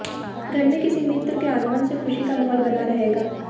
घर में किसी मित्र के आगमन से खुशी का माहौल बना रहेगा